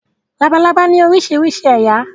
Labalábá ní oríṣiríṣi ẹ̀yà.